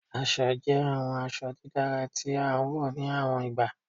Aṣọ jẹ awọn aṣọ didara ti a wọ ni awọn igba